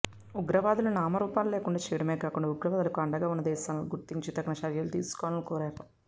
ఉగ్రవాదులను నామరూపాలు లేకుండా చేయడమే కాకుండా ఉగ్రవాదులకు అండగా ఉన్న దేశాలను గుర్తించి తగిన చర్యలు తీసుకోవాలని కోరారు